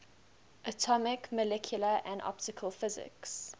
atomic molecular and optical physics